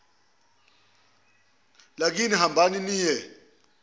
lakini hambani niye